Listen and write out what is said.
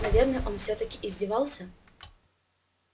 наверное он всё-таки издевался